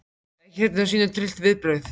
Ekki hrædd um að sýna tryllt viðbrögð.